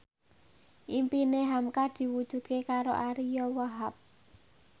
impine hamka diwujudke karo Ariyo Wahab